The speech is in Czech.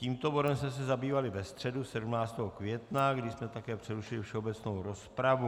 Tímto bodem jsme se zabývali ve středu 17. května, kdy jsme také přerušili všeobecnou rozpravu.